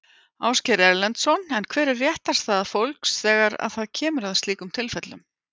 Ásgeir Erlendsson: Og hver er réttarstaða fólks þegar að það kemur að slíkum tilfellum?